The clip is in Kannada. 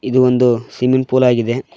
ಇದು ಒಂದು ಸ್ವಿಮ್ಮಿಂಗ್ ಪೂಲ್ ಆಗಿದೆ.